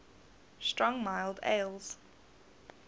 strong mild ales